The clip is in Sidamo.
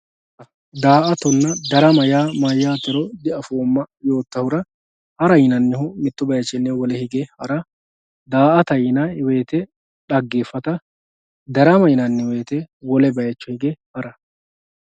Daatonna darama ya mayatero diafoma yotahura hara yinanihu mittu bayichini wole bayicho hige hara daata yinayi woyite dagefatta darama yinayi woyite wole bayicho hige hara